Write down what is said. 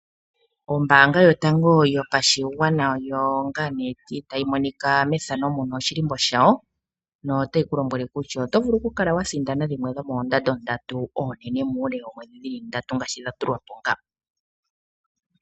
Oombaanga yotango yopashigwana oyo ngaa nee tayi ulikwa methano muno oshilimbo shawo. Ano otayi kulombwele kutya oto vulu oku sindana dhimwe dhomoondando dhili ndatu oonene muule woomwedhi ndatu ngaashi dha tulwapo nga.